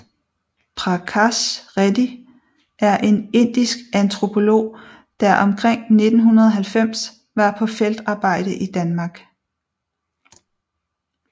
Prakash Reddy er en indisk antropolog der omkring 1990 var på feltarbejde i Danmark